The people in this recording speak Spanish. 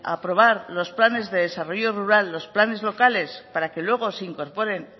aprobar los planes de desarrollo rural los planes locales para que luego se incorporen